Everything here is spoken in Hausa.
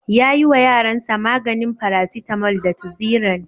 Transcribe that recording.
Ya ƴiwa ƴaransa maganin farasitamol da tuziran.